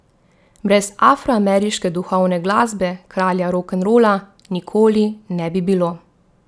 Brez afroameriške duhovne glasbe kralja rokenrola nikoli ne bi bilo.